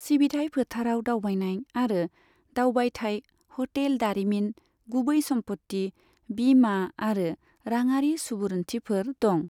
सिबिथाय फोथाराव दावबायनाय आरो दावबायथाय, ह'टेल दारिमिन, गुबै सम्पथि, बीमा आरो राङारि सुबुरुन्थिफोर दं।